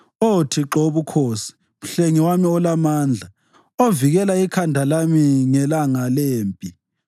Oh Thixo wobukhosi, mhlengi wami olamandla, ovikela ikhanda lami ngelanga lempi